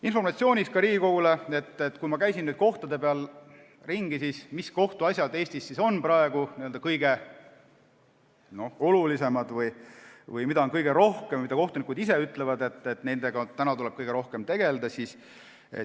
Informatsiooniks Riigikogule: mis kohtuasjad on Eestis praegu kõige olulisemad või mida on kõige rohkem ja mille kohta kohtunikud ise ütlevad, et nendega tuleb kõige rohkem tegelda?